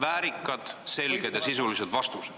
väärikad, selged ja sisulised vastused.